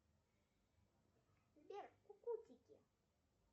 сбер кукутики